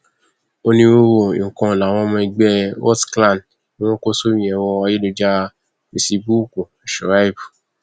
onírúurú nǹkan làwọn ọmọ ẹgbẹ rotclan ń kó sórí ẹrọ ayélujára fẹsíbùúkù shuaib